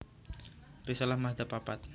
Risalah madzhab papat